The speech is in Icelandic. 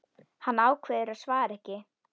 Hann ákveður að svara ekki.